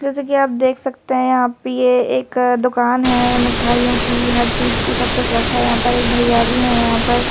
जैसे कि आप देख सकते हैं यहां प ये एक दुकान है मिठाइयों की हर चीज की सब कुछ रखा है यहां पर एक भैया भी है यहां पर--